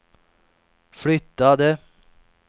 flyttade